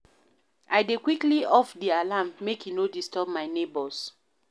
I dey quickly off di alarm, make e no disturb my nebors.